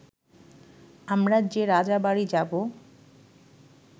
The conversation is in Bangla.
আমরা যে রাজাবাড়ি যাব